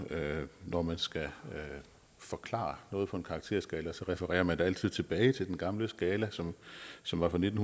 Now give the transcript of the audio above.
når man skal forklare noget på en karakterskala refererer man altid tilbage til den gamle skala som som var fra nitten